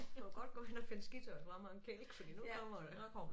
Du kan godt gå hen og finde skitøjet frem og en kælk fordi nu kommer det